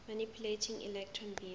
manipulating electron beams